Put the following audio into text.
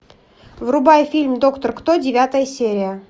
врубай фильм доктор кто девятая серия